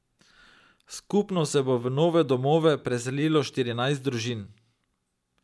Skupno se bo v nove domove preselilo štirinajst družin.